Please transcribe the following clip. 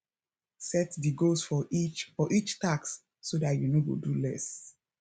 set di goals for each for each tasks so dat you no go do less